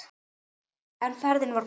En ferðin var góð.